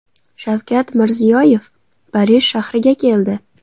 Shavkat Mirziyoyev Parij shahriga keldi.